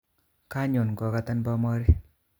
Kanyon kokatan bomori